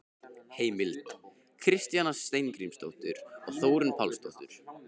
Heimild: Kristjana Steingrímsdóttir og Þórunn Pálsdóttir.